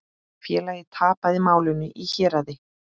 Félagið tapaði málinu í héraði.